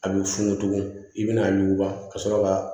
A b'i funugu tuguni i bɛ na yuguba ka sɔrɔ ka